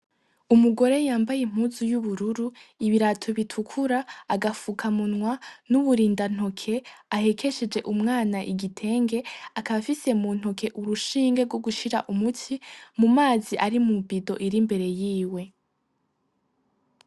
Umugore yambaye impuzu y'ubururu, ibirato bitukura, agafuka munwa, n'uburinda ntoke, ahekesheje umwana igitenge, akaba afise mu ntoke urushinge rwogushira umuti mu mazi ari mu ibido iri imbere yiwe.